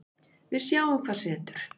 Við sjáum hvað setur